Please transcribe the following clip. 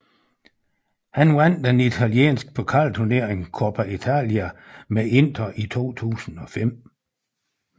Han vandt den italienske pokalturnering Coppa Italia med Inter i 2005